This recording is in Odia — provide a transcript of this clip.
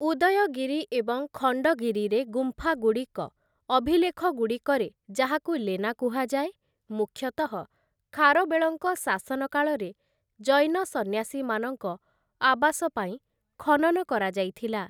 ଉଦୟଗିରି ଏବଂ ଖଣ୍ଡଗିରିରେ ଗୁମ୍ଫାଗୁଡ଼ିକ, ଅଭିଲେଖଗୁଡ଼ିକରେ ଯାହାକୁ ଲେନା କୁହାଯାଏ, ମୁଖ୍ୟତଃ ଖାରବେଳଙ୍କ ଶାସନକାଳରେ ଜୈନ ସନ୍ନ୍ୟାସୀମାନଙ୍କ ଆବାସ ପାଇଁ ଖନନ କରାଯାଇଥିଲା ।